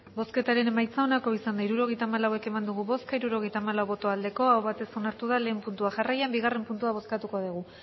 hirurogeita hamalau eman dugu bozka hirurogeita hamalau bai aho batez onartu da batgarrena puntua jarraian bigarrena puntua bozkatuko dugu